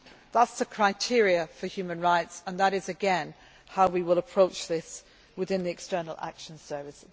here. Those are the criteria for human rights and that is, again, how we will approach this within the External Action Service.